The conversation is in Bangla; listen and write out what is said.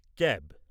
ক্যাব